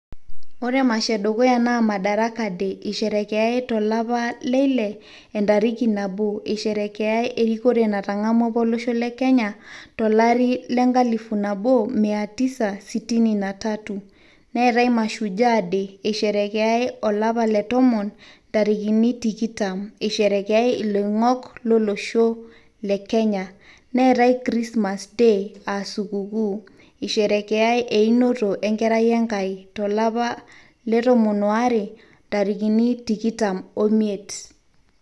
ore emasho edukuya naa madaraka day, eisherekeyae tolosho le kenya, eisherekeyae tolapa leile, entariki nabo, eisherekeyae erikore apa natang'amua olosho le kenya tolari lenkalifu, nabo martha koomemia tisa sitini natatumartha koome. neetae mashujaa day isherekeyae olapa le tomon intarikini, tikitam iloing'ok lolosho le kenya. neetae krismas day aa sukukuu, eisherekeyae einoto enkerai enaki, tolapa le tomon aare ntarikini tikitam oimiet.